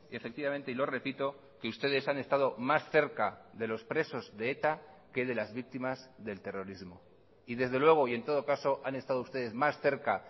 efectivamente y lo repito que ustedes han estado más cerca de los presos de eta que de las víctimas del terrorismo y desde luego y en todo caso han estado ustedes más cerca